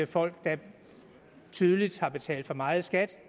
folk der tydeligvis har betalt for meget i skat